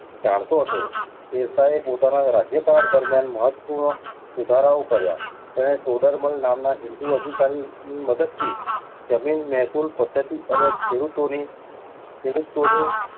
જાણતો હતો. શેરશાહે પોતાના રાજ્યકાળ દરમિયાન મહત્ત્વપૂર્ણ સુધારાઓ કર્યા. તેણે ટોડરમલ નામના હિંદુ અધિકારીની મદદથી જમીન-મહેસૂલ પદ્ધતિ અને ખેડૂતોની